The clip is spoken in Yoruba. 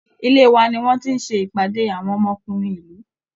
Ilé wa ni wọ́n ti ń ṣe ìpàdé àwọn ọmọkùnrin ìlú